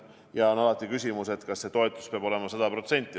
Ja alati on küsimus, kas toetus peab olema 100%.